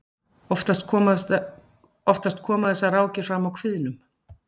oftast koma þessar rákir fram á kviðnum